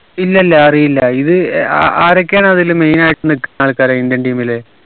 ഇല്ലില്ല അറിയില്ല ഇത് ഏർ ആരൊക്കെയാണ് അതില് main ആയിട്ട് നിക്കുന്ന ആൾകാർ indian team ല്